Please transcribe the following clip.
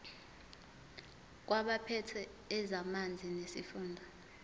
kwabaphethe ezamanzi nesifunda